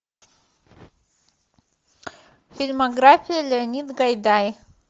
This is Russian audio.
фильмография леонид гайдай